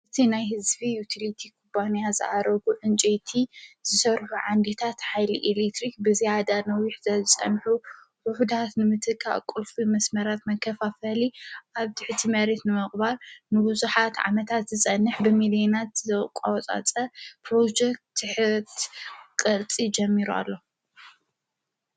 ብቲ ናይ ሕዝቢ ይቲልቲ ኽባንያ ፀኣረጉ እንቂቲ ዝሠርሁ ዓንዲታት ኃይሊ ኤሌትሪኽ ብዚኣዳነዊሕዘጸምሑ ብኅዳት ንምትካ ቕልፉ መስመራት መከፋፈሊ ኣብቲ ሕቲመሬት ንመቕባር ንብዙኃት ዓመታት ዝጸንሕ ብሚልዮናት ዘቋወጻጸ ጵሮጀክ ትሕት ቐልፂ ጀሚሩ ኣሎ::